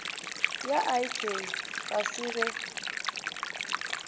ya ik ga se be